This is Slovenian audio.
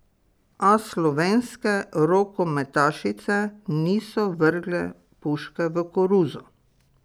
A slovenske rokometašice niso vrgle puške v koruzo.